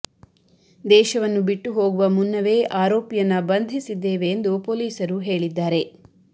ದೇಶವನ್ನ ಬಿಟ್ಟು ಹೋಗುವ ಮುನ್ನವೇ ಆರೋಪಿಯನ್ನ ಬಂಧಿಸಿದ್ದೇವೆ ಎಂದು ಪೊಲೀಸರು ಹೇಳಿದ್ದಾರೆ